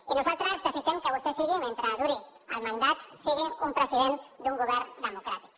i nosaltres desitgem que vostè sigui mentre duri el mandat un president d’un govern democràtic